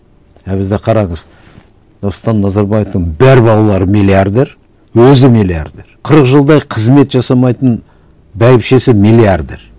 а бізде қараңыз нұрсұлтан назарбаевтың бар балалары миллиардер өзі миллиардер қырық жылдай қызмет жасамайтын бәйбішесі миллиардер